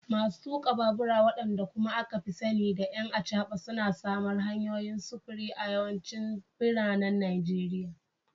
Masu tuka babura, wadanda kuma aka fi sani da “'ƴan acaba,” suna samar hanyoyin sufuri a yawancin biranen Najeriya.